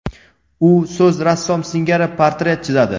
U so‘z rassom singari portret chizadi.